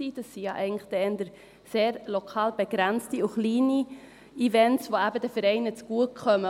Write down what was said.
eigentlich sind das ja eher sehr lokal begrenzte und kleine Events, die ja eben den Vereinen zugutekommen.